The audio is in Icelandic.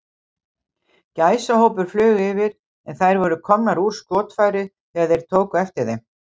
Gæsahópur flaug yfir, en þær voru komnar úr skotfæri, þegar þeir tóku eftir þeim.